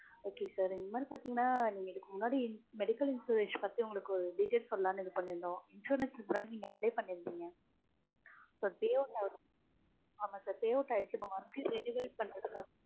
okay sir என்னனு பாதிங்கனா, நீங்க இதுக்கு முன்னாடி medical insurance பத்தி உங்களுக்கு details சொல்லலானு இது பண்ணிருக்கோம். insurance முன்னாடி நீங்க apply பண்ணியிருந்தீங்க. இப்போ payout ஆயிருச்சு. ஆமா sir payout ஆயிருச்சு. monthly renewal பண்றதுக்கு